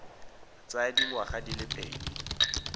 tsaya dingwaga di le pedi